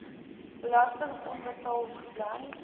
belasting onbetaald gebly